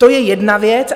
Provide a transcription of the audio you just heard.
To je jedna věc.